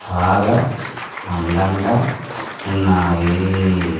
బాగా అందంగా ఉన్నాయి.